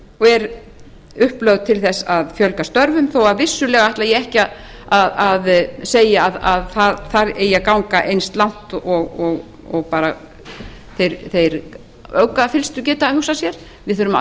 og er upplögð til þess að fjölga störfum þó að vissulega ætli ég ekki að segja að segja að það eigi að ganga eins langt og þeir öfgafyllstu geta hugsað sér við þurfum að